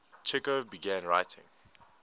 chekhov began writing